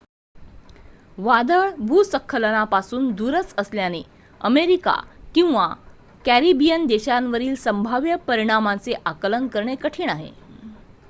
वादळ भूस्खलनापासून दूरच असल्याने अमेरिका किंवा कॅरिबियन देशांवरील संभाव्य परिणामाचे आकलन करणे कठीण आहे